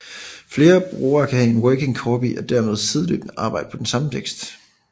Flere brugere kan have en working copy og dermed sideløbende arbejde på den samme tekst